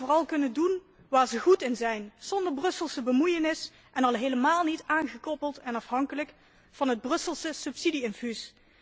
Laat hen vooral kunnen doen waar zij goed in zijn, zonder Brusselse bemoeienis en al helemaal niet aangekoppeld en afhankelijk van het Brusselse subsidie infuus.